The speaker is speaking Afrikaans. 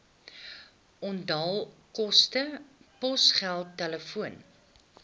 onthaalkoste posgeld telefoon